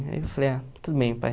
Aí eu falei, ah, tudo bem, pai.